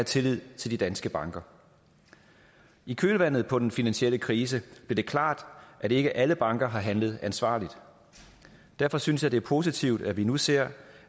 tillid til de danske banker i kølvandet på den finansielle krise blev det klart at ikke alle banker har handlet ansvarligt derfor synes jeg at det er positivt at vi nu ser